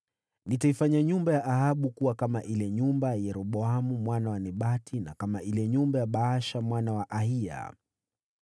Nitaifanya nyumba ya Ahabu kuwa kama ile nyumba ya Yeroboamu mwana wa Nebati, na kama ile nyumba ya Baasha mwana wa Ahiya.